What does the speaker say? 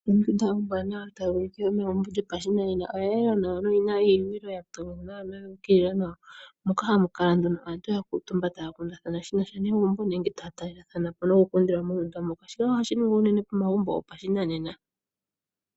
Ondunda ombwaanawa tayi ulike yili yopashinanena oya yela nawa noyina iipundi yuukililathana nawa moka hamu kala aantu ya kuutumba taa kundathana shinasha negumbo nenge taa taa talethana po nokulundilwamo mondunda omo tuu moka ,shika ohashi ningwa unene pomagumbo gopashinanena.